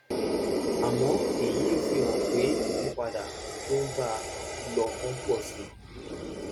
àmọ́ èyí ò fi hàn pé ìyípadà um tó ń bá a lọ ń pọ̀ sí i